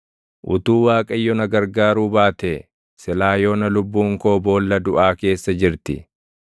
Utuu Waaqayyo na gargaaruu baatee, silaa yoona lubbuun koo boolla duʼaa keessa jirti.